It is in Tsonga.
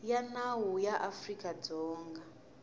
ya nawu ya afrika dzonga